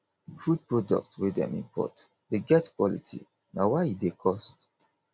food products wey dem import dey get quality na why e dey cost